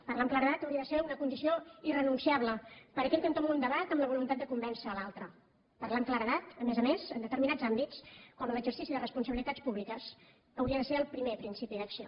parlar amb claredat hauria de ser una condició irrenunciable per aquell que entoma un debat amb la voluntat de convèncer l’altre parlar amb claredat a més a més en determinats àmbits com en l’exercici de responsabilitats públiques hauria de ser el primer principi d’acció